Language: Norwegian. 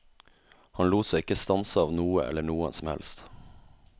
Han lot seg ikke stanse av noe eller noen som helst.